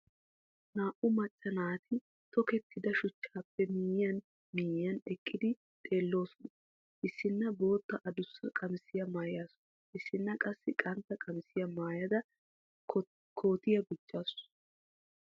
Naa"u macca naati tokkettidda shuchchaappe miyiyan miyiyan eqqidi xeelloosona. Issina bootta addussa qamisiya maayaasu issina qassi qantta qamisiya mayada kootiya gujjaasu.